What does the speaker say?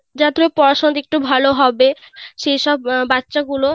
যতুটুকু পড়াশোনাতে একটু ভাল হবে সে সব বাচ্চা গুলো